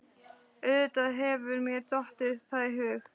Auðvitað hefur mér dottið það í hug.